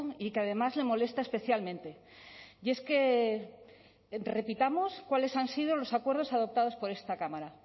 y que además le molesta especialmente y es que repitamos cuáles han sido los acuerdos adoptados por esta cámara